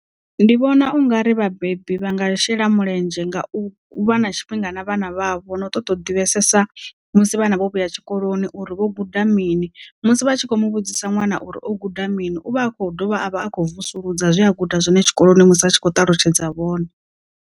Ndi vhona ungari vhabebi vha nga shela mulenzhe nga u vha na tshifhinga na vhana vha vho no ṱoḓa u divhesesa musi vhana vho vhuya tshikoloni uri vho guda mini musi vha tshi kho mu vhudzisa ṅwana uri o guda mini uvha a kho dovha a vha a khou vusuludza zwe a guda zwone tshikoloni musi a tshi khou ṱalutshedza vhone.